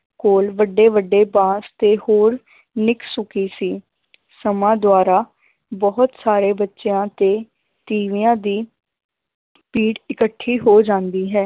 ਕੋਲ ਵੱਡੇ ਵੱਡੇ ਬਾਂਸ ਤੇ ਹੋਰ ਨਿੱਕ ਸੁੱਕੀ ਸੀ ਸਮਾਂ ਦੁਆਰਾ ਬਹੁਤ ਸਾਰੇ ਬੱਚਿਆਂ ਤੇ ਤੀਵਿਆਂ ਦੀ ਭੀੜ ਇਕੱਠੀ ਹੋ ਜਾਂਦੀ ਹੈ,